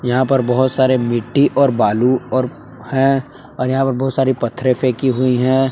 यहा पर बहोत सारे मिट्टी और बालू और हैं और यहा पर बहुत सारी पत्थरे फेकी हुई हैं।